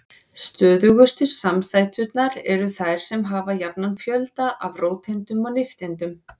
Stöðugustu samsæturnar eru þær sem hafa jafnan fjölda af róteindum og nifteindum.